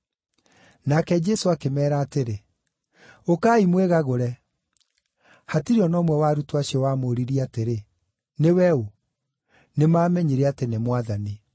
Nake Jesũ akĩmeera atĩrĩ, “Ũkai mwĩgagũre.” Hatirĩ o na ũmwe wa arutwo acio wamũũririe atĩrĩ, “Nĩwe ũ?” Nĩmamenyire atĩ nĩ Mwathani.